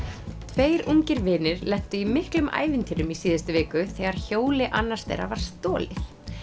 tveir ungir vinir lentu í miklum ævintýrum í síðustu viku þegar hjóli annars þeirra var stolið